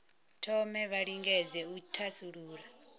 thome vha lingedze u thasulula